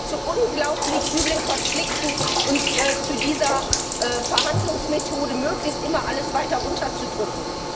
Es führt zu unglaublich üblen Konflikten und zu dieser Verhandlungsmethode, möglichst immer alles weiter runter zu drücken.